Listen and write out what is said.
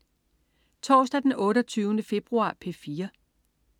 Torsdag den 28. februar - P4: